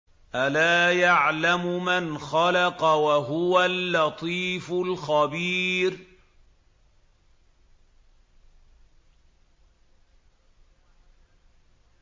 أَلَا يَعْلَمُ مَنْ خَلَقَ وَهُوَ اللَّطِيفُ الْخَبِيرُ